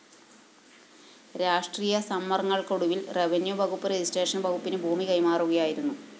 രാഷ്ര്ടീയ സമ്മര്‍ങ്ങള്‍ക്കൊടുവില്‍ റെവന്യൂ വകുപ്പ് രജിസ്ട്രേഷൻ വകുപ്പിന് ഭൂമി കൈമാറുകയായിരുന്നു